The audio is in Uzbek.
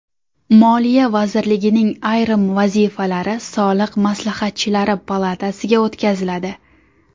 Moliya vazirligining ayrim vazifalari Soliq maslahatchilari palatasiga o‘tkaziladi.